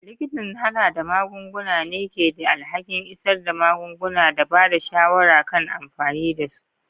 Likitan harhada magunguna ne ke da alhakin isar da magunguna da ba da shawara kan amfani da su.